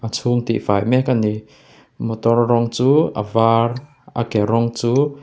chhung tih fai mek a ni motor rawng chu a var a ke rawng chu--